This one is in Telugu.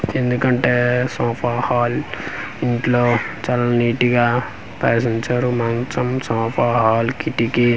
ఎందుకంటే సోఫా హాల్ ఇంట్లో చాల నీటిగా పరిసి ఉంచారు మంచం సోఫా హాల్ కిటికీ .